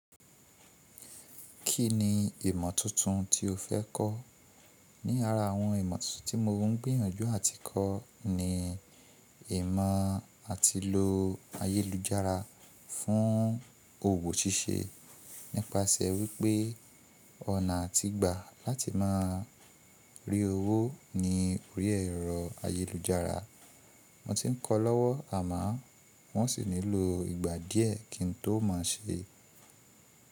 Kí ni ìmọ̀ tuntun tí o fẹ́ kọ́? Ní ara àwọn ìmọ̀ tuntun tí mo ń gbìyànjú àti kọ́ ni ìmọ̀ àti lo ayélujára fún òwò ṣíṣe nípasẹ̀ wípé ọ̀nà àtìgbà láti máa rí owó ni orí ẹ̀rọ ayélujára. Mo ti ń kọ́ lọ́wọ́ àmọ́ n o sì nílò ìgbà díẹ̀ kí n tó mọ̀ ọ́n ṣe.